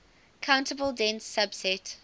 countable dense subset